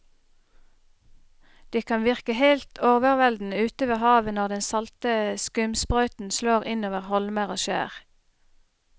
Det kan virke helt overveldende ute ved havet når den salte skumsprøyten slår innover holmer og skjær.